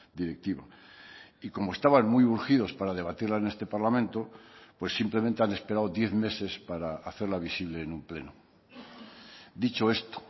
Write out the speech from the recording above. directiva y como estaban muy urgidos para debatirla en este parlamento pues simplemente han esperado diez meses para hacerla visible en un pleno dicho esto